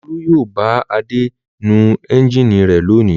Olú yóò bá Adé nu ẹ́ńjínì rẹ̀ lónìí.